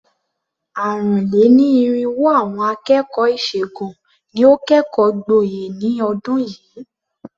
Àrùn-lé-ní-irínwó àwọn akẹ́kọ̀ọ́ ìṣègùn ni ó kẹ́kọ̀ọ́ gboyè ní ọdún yìí.